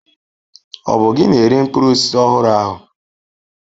Ọ bụ gị na-ere mkpụrụ osisi ọhụrụ ahụ?